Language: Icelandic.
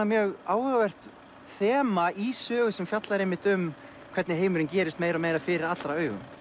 mjög áhugavert þema í sögu sem fjallar einmitt um hvernig heimurinn gerist meira og meira fyrir allra augum